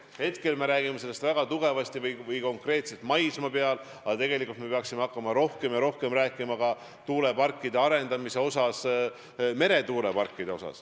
Praegu me räägime sellest konkreetselt kui maismaa tuulikutest, aga tegelikult me peaksime hakkama rohkem rääkima ka meretuuleparkide arendamisest.